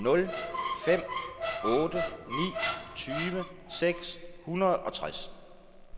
nul fem otte ni tyve seks hundrede og tres